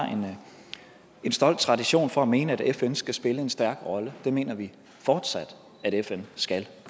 en stolt tradition for at mene at fn skal spille en stærk rolle det mener vi fortsat at fn skal